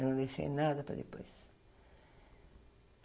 Eu não deixei nada para depois.